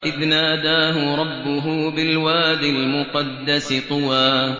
إِذْ نَادَاهُ رَبُّهُ بِالْوَادِ الْمُقَدَّسِ طُوًى